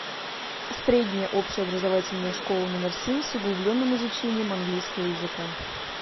средняя общеобразовательная школа номер семь с углубленным изучением английского языка